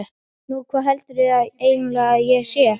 Nú, hvað heldurðu eiginlega að ég sé?